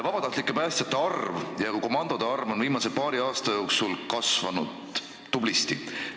Sellepärast, et viimase paari aasta jooksul on vabatahtlike päästjate ja ka komandode arv tublisti kasvanud.